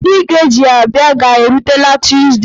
Ndị ga-eji ya bịa ga-erutela tuzdee.